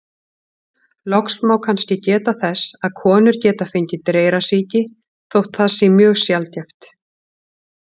Loks má kannski geta þess að konur geta fengið dreyrasýki, þótt það sé mjög sjaldgæft.